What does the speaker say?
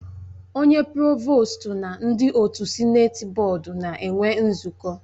Onye provostu na ndị otu Sịneti bọọdu na-enwe nzukọ